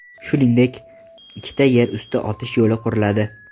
Shuningdek, ikkita yer usti o‘tish yo‘li quriladi.